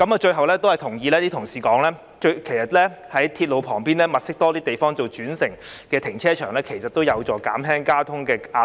最後，我同意一些同事所說，在鐵路旁邊多物色地方作泊車轉乘用途的停車場，有助減輕交通壓力。